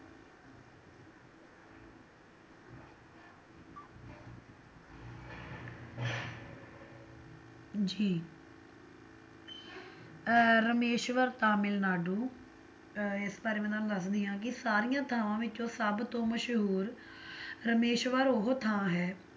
ਜੀ ਰਾਮੇਸ਼ਵਰਮ ਤਾਮਿਲਨਾਡੂ ਅਹ ਇਸ ਬਾਰੇ ਮੈਂ ਤੁਹਾਨੂੰ ਦੱਸਦੀ ਆ ਕੀ ਸਾਰੀਆਂ ਥਾਵਾਂ ਵਿੱਚੋਂ ਸਭਤੋਂ ਮਸ਼ਹੂਰ ਰਾਮੇਸ਼ਵਰ ਉਹ ਥਾਂ ਹੈ